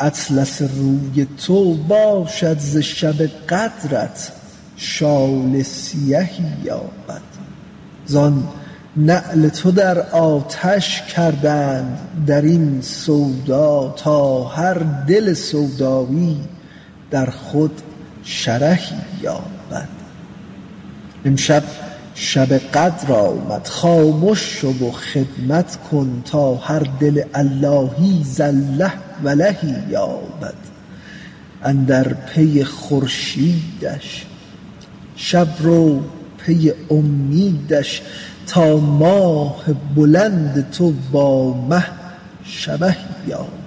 اطلس روی تو باشد ز شب قدرت شال سیهی یابد زان نعل تو در آتش کردند در این سودا تا هر دل سودایی در خود شرهی یابد امشب شب قدر آمد خامش شو و خدمت کن تا هر دل اللهی ز الله ولهی یابد اندر پی خورشیدش شب رو پی امیدش تا ماه بلند تو با مه شبهی یابد